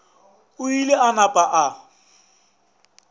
o ile a napa a